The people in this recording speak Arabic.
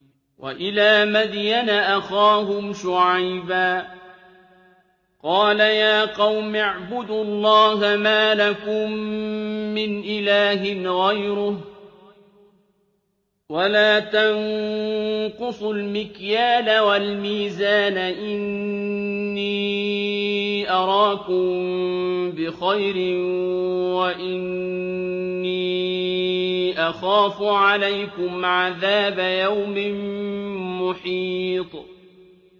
۞ وَإِلَىٰ مَدْيَنَ أَخَاهُمْ شُعَيْبًا ۚ قَالَ يَا قَوْمِ اعْبُدُوا اللَّهَ مَا لَكُم مِّنْ إِلَٰهٍ غَيْرُهُ ۖ وَلَا تَنقُصُوا الْمِكْيَالَ وَالْمِيزَانَ ۚ إِنِّي أَرَاكُم بِخَيْرٍ وَإِنِّي أَخَافُ عَلَيْكُمْ عَذَابَ يَوْمٍ مُّحِيطٍ